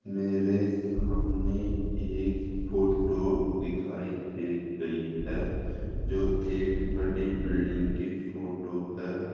मेरे सामने एक फोटो दिखाई दे रही है जो एक बड़ी बिल्डिंग की फोटो है।